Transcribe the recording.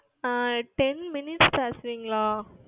ah Ten Minutes தருவீர்களா